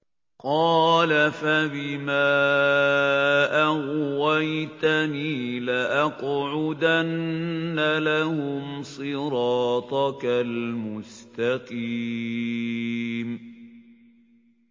قَالَ فَبِمَا أَغْوَيْتَنِي لَأَقْعُدَنَّ لَهُمْ صِرَاطَكَ الْمُسْتَقِيمَ